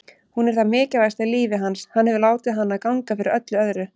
Hún er það mikilvægasta í lífi hans, hann hefur látið hana ganga fyrir öllu öðru.